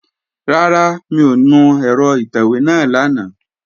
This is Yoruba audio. Rárá, mi ò nu ẹ̀rọ ìtẹ̀wé náà lánàá